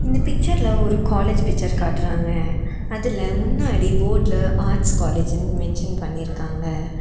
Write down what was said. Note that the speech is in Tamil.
இந்த பிச்சர்ல ஒரு காலேஜ் பிச்சர் காட்றாங்க அதுல முன்னாடி போர்ட்ல ஆர்ட்ஸ் காலேஜ்ன்னு மென்ஷன் பண்ணி இருக்காங்க.